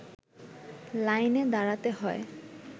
লাইনে দাঁড়াতে হয়